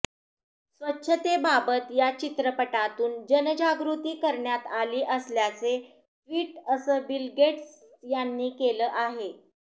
स्वच्छतेबाबत या चित्रपटातून जनजागृती करण्यात आली असल्याचे ट्विट असं बिल गेट्स यांनी केले आहे